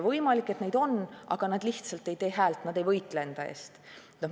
Võimalik, et neid on, aga nad lihtsalt ei tee häält, nad ei võitle enda eest.